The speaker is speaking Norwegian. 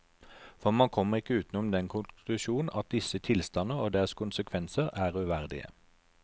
For man kommer ikke utenom den konklusjon at disse tilstander, og deres konsekvenser, er uverdige.